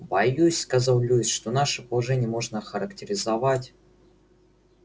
боюсь сказал льюис что наше положение можно охарактеризовать